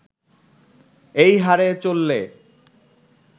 এই হারে চললে